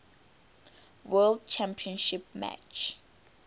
world championship match